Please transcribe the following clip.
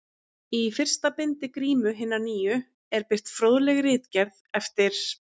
Í fyrsta bindi Grímu hinnar nýju er birt fróðleg ritgerð eftir